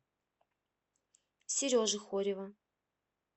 сережи хорева